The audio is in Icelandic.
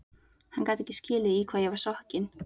Hann gat ekki skilið í hvað ég var sokkin.